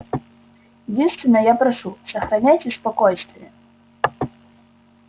единственно я прошу сохраняйте спокойствие